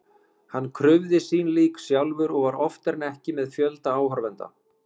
Hann krufði sín lík sjálfur og var oftar en ekki með fjölda áhorfenda.